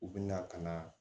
U bɛ na ka na